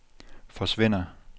forsvinder